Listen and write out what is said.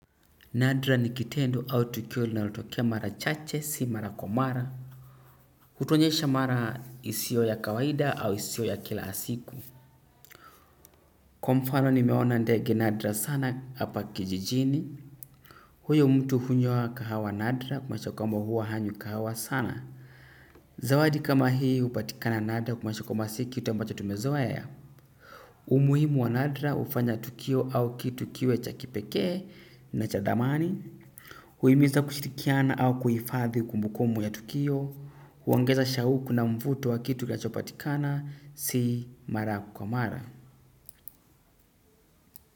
Nadra ni kitendo au tukio linalotokea mara chache si mara kwa mara. Hutuonyesha mara isiyo ya kawaida au isiyo ya kila ya siku. Kwa mfano nimeona ndege nadra sana hapa kijijini. Huyo mtu hunywa kahawa nadra kumaanisha kwamba huwa hanywi kahawa sana. Zawadi kama hii hupatikana nadra kumaanisha kwamba si kitu ambacho tumezoea. Umuhimu wa nadra hufanya tukio au kitu kiwe cha kipekee na cha thamani. Huimiza kushirikiana au kuhifadhi kumbukumbu ya tukio. Huongeza shauku na mvuto wa kitu kinachopatikana si mara kwa mara.